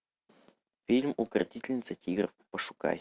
фильм укротительница тигров пошукай